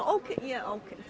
ókei yeah